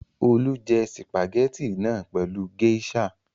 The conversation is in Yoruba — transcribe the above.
Olú jẹ sìpàgẹ́tì náà pẹ̀lú géíṣà!